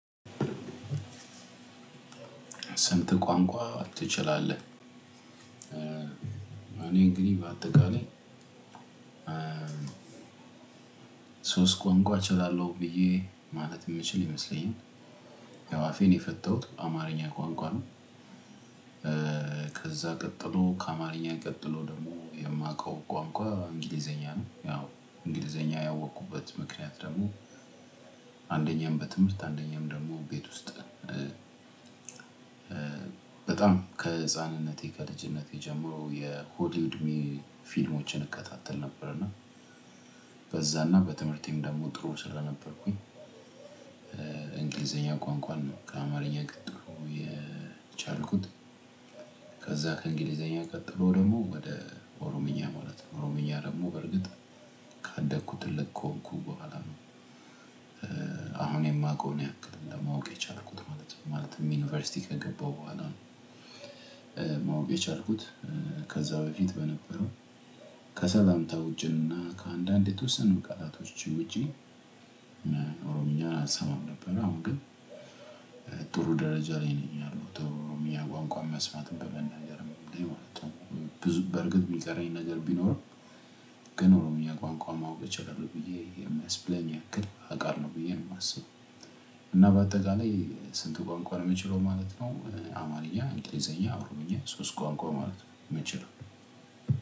ሰንተ ቋንቋ ትችላለህ እኔ እንግዲህ በአጠቃላይ ሶስት ቋንቋ እችላለሁ ብዬ ማለት የምችል ይመስለኛል። ያው አፌን የፈተሁት አማርኛ ቋንቋ ነው። ከዛ ቀጥሎ ከአማርኛ ቀጥሎ ደግሞ የማውቀው ቋንቋ እንግሊዘኛ ነው። ያው እንግሊዘኛ ያወቅኩበት ምክንያት ደግሞ አንደኛም በትምህርት አንደኛም ደግሞ ቤት ውስጥ። በጣም ከህፃንነቴ ከልጅነቴ ጀምሮ የሆሊዩድሚ ፊልሞችን እከታተል ነበር። እና በዛና በትምህርቴም ደግሞ ጥሩ ስለነበርኩኝ። እንግሊዘኛ ቋንቋን ከአማርኛ ቀጥሎ የቻልኩት። ከዛ ከእንግሊዘኛ ቀጥሎ ደሞ ወደ ኦሮምኛ ማለት ነው። ኦሮምኛ ደግሞ በርግጥ ካደኩት ትልቅ ከሆንኩ በኋላ ነው። አሁን የማውቀውን ያክል ለማወቅ የቻልኩት ማለት ነው። ማለት ዩኒቨርሲቲ ከገባሁ ቡኋላ ነው። ማወቅ የቻልኩት። ከዛ በፊት በነበረው ከሰላምታ ውጪና ከአንዳንድ የተወሰኑ ቃላቶች ውጪ እና ኦሮምኛ አሰማም ነበር። አሁን ግን ጥሩ ደረጃ ላይ ነኝ ያለሁት ኦሮምኛ ቋንቋ መስማትን በመናገር ሊወለድ ብዙ በርግጥ የሚጠራኝ ነገር ቢኖርም ግን እኔ ቋንቋ ማወቅ እችላለሁ ብዬ የማስብለኝ ያክል አቃለሁ ብዬ ነው የማስበው። እና በአጠቃላይ ስንት ቋንቋ ነው የምችለው ማለት ነው? አማርኛ እንግሊዘኛ ኦሮሞኛ ሶስት ቋንቋ ማለት ነው የምንችለው።